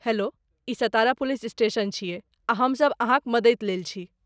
Hello, ई Satara police station छियै आ हमसभ अहाँक मदति लेल छी।